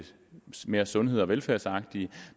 mere sundheds og velfærdsagtige